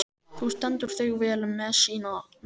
Þú stendur þig vel, Messíana!